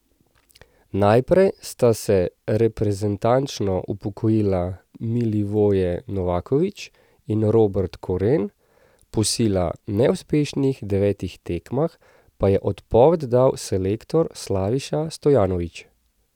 Najprej sta se reprezentančno upokojila Milivoje Novaković in Robert Koren, po sila neuspešnih devetih tekmah pa je odpoved dal selektor Slaviša Stojanović.